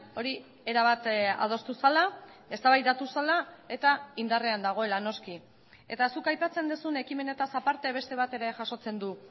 hori erabat adostu zela eztabaidatu zela eta indarrean dagoela noski eta zuk aipatzen duzun ekimenetaz aparte beste bat ere jasotzen du